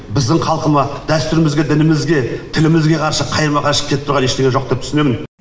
біздің халқыма дәстүрімізге дінімізге тілімізге қайшы қарама қайшы келіп тұрған ештеңе жоқ деп түсінемін